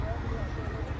Bir dənə bu tərəfə.